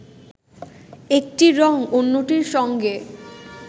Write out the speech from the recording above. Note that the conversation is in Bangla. একটি রঙ অন্যটির সঙ্গে